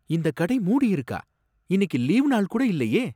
இந்த கடை மூடி இருக்கா! இன்னிக்கு லீவு நாள் கூட இல்லையே.